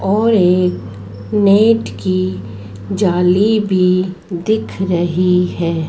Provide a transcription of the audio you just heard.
और एक नेट की जाली भी दिख रही है।